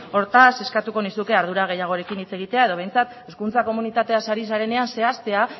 hortaz eskatuko nizuke ardura gehiagorekin hitz egitea edo behintzat hezkuntza komunitateaz ari zarenean zehaztea